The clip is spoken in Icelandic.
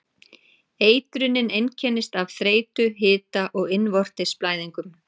Eitrunin einkennist af þreytu, hita og innvortis blæðingum.